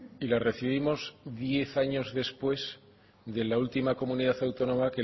y la recibimos diez años después de la última comunidad autónoma